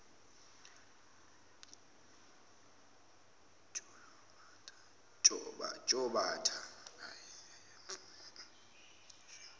jotbatha